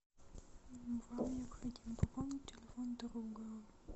вам необходимо пополнить телефон друга